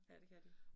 Ja det kan de